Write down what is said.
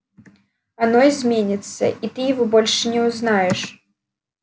оно изменится и ты его больше не узнаешь